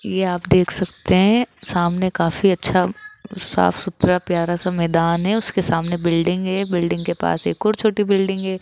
ये आप देख सकते है सामने काफी अच्छा साफ सूत्र प्यारा सा मैदान है उसके सामने बिल्डिंग है बिल्डिंग के पास एक और छोटी बिल्डिंग है।